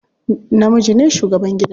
Namiji ne shugaban gida.